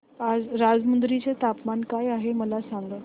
आज राजमुंद्री चे तापमान काय आहे मला सांगा